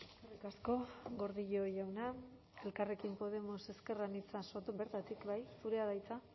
eskerrik asko gordillo jauna elkarrekin podemos ezker anitza soto bertatik bai zurea da hitza